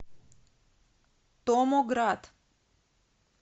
томоград